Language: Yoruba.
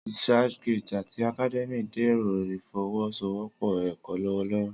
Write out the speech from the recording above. ResearchGate ati Academia dẹrọ ifowosowopo ẹkọ lọwọlọwọ.